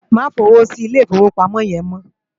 Má fi ówó si Ilé Ifówópámò yèn mò